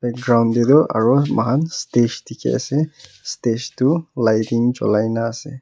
de tu aro moikhan stage dikhi ase stage tu lighting chulai na ase.